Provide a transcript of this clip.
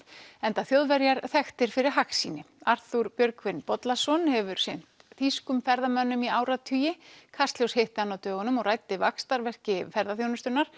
enda Þjóðverjar þekktir fyrir hagsýni Arthúr Björgvin Bollason hefur sinnt þýskum ferðamönnum í áratugi kastljós hitti hann á dögunum og ræddi vaxtarverki ferðaþjónustunnar